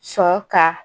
Sɔn ka